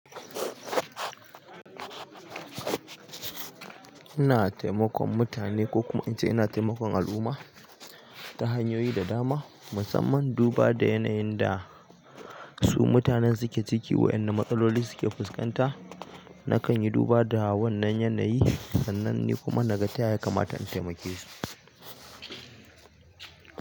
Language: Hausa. Ina taimakon mutane ko kuma in ce ina taimakon al'umma ta hanyoyi da dama, musamman duba da yanayin da su mutanen suke ciki, waɗanna matsaloli suke fuskanta. Nakan yi duba da wannan yanayi sannan ni kuma na gata ya kamata intaimake su.